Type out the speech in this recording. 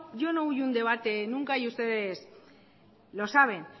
huyo un debate nunca y ustedes lo saben